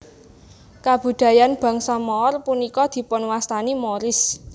Kabudayaan bangsa Moor punika dipunwastani Moorish